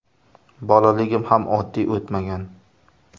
Bolaligim ham oddiy o‘tmagan.